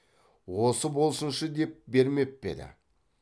осы болсыншы деп бермеп пе еді